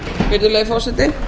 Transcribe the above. virðulegi forseti neyðarástand